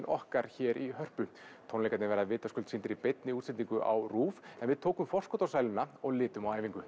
okkar hér í Hörpu tónleikarnir verða vitaskuld sýndir í beinni útsendingu á en við tókum forskot á sæluna og litum á æfingu